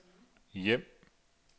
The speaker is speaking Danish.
hjem